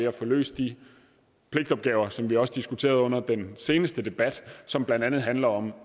at få løst de pligtopgaver som vi også diskuterede under den seneste debat og som blandt andet handler om